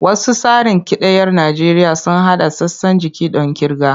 Wasu tsarin kidayar Najeriya sun haɗa sassan jiki don kirga.